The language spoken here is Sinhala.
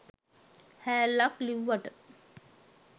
හෑල්ලක් ලිව්වට